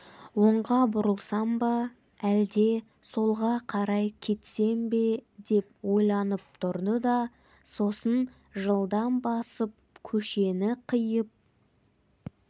оңға бұрылсам ба әлде солға қарай кетсем деп ойланып тұрды да сосын жылдам басып көшені қиып